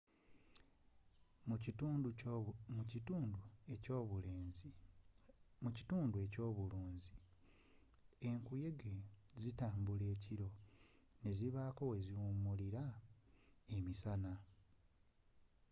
mu kitundu ekyobulunzi enkuyege zitambula ekiro nezibaako weziwumulira emisana